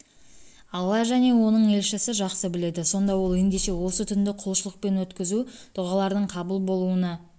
алла және оның елшісі жақсы біледі сонда ол ендеше осы түнді құлшылықпен өткізу дұғалардың қабыл болуына